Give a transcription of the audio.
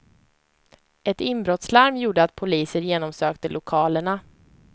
Ett inbrottslarm gjorde att poliser genomsökte lokalerna.